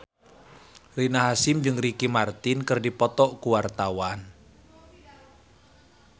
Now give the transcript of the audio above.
Rina Hasyim jeung Ricky Martin keur dipoto ku wartawan